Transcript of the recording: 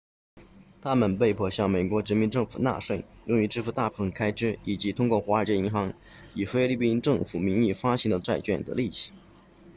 他们被迫向美国殖民政权纳税用于支付大部分开支以及通过华尔街银行以菲律宾政府名义发行的债券的利息